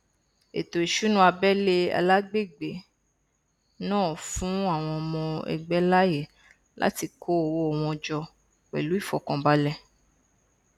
ètò ìṣúná abẹlé alagbègbè náà fún àwọn ọmọ ẹgbẹ láàyè láti kó owó wọn jọ pẹlú ìfọkànbalẹ